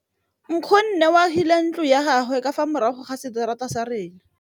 Nkgonne o agile ntlo ya gagwe ka fa morago ga seterata sa rona.